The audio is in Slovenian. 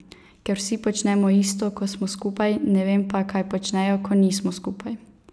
Ker vsi počnemo isto, ko smo skupaj, ne vem pa, kaj počnejo, ko nismo skupaj.